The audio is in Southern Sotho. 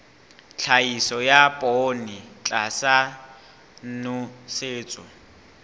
tlhahiso ya poone tlasa nosetso